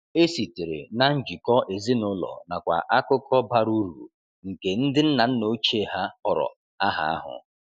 E sitere na njikọ ezinụlọ nakwa akụkọ bara uru nke ndi nna nna ochie ha họrọ aha ahụ.